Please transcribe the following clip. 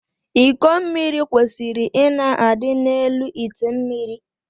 Iko mmiri kwesiri ịna adị n’elu ite mmiri